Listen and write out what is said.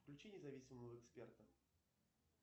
включи независимого эксперта